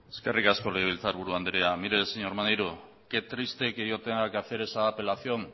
eskerrik asko legebiltzarburu andrea mire señor maneiro qué triste que yo tenga que hacer esa apelación